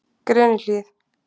Grenihlíð